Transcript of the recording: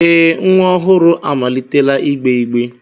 Ee nwa ọhụrụ amalitela ịgbe igbe